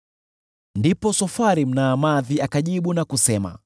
Ndipo Sofari Mnaamathi akajibu: